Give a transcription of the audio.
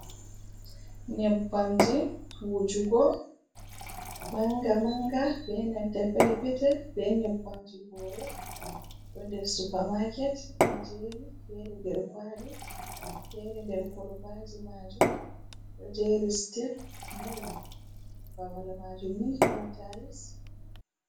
Nyebbamji wujugo mannga-mannga bee nanta perpetel bee nyebbamji hoore, ɗo nder "supermarket" ɗo jeeri feere nder "kwaali" feere nder kolvaaji maajum ɗo jeeri "siteb" nayi, babal maajum ni ɗon "taayis".